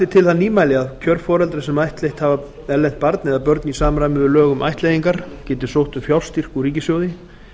til það nýmæli að kjörforeldrar sem ættleitt hafa erlent barn eða börn í samræmi við lög um ættleiðingar geti sótt um fjárstyrk úr ríkissjóði